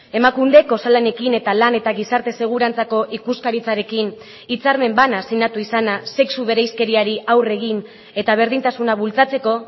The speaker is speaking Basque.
emakundek osalanekin eta lan eta gizarte segurantzako ikuskaritzarekin hitzarmen bana sinatu izana sexu bereizkeriari aurre egin eta berdintasuna bultzatzeko